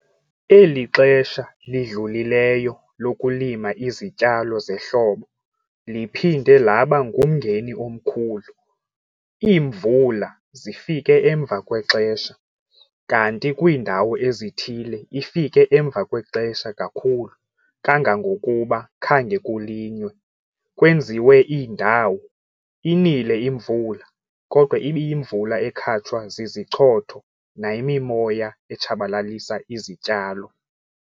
Eli xesha lidlulileyo lokulima izityalo zehlobo liphinde laba ngumngeni omkhulu. Iimvula zifike emva kwexesha, kanti kwiindawo ezithile ifike emva kwexesha kakhulu kangangokuba khange kulinywe. Kwezinye iindawo, inile imvula, kodwa ibiyimvula ekhatshwa zizichotho nayimimoya etshabalalisa izityalo.